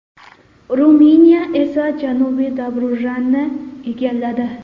Ruminiya esa Janubiy Dobrujani egalladi.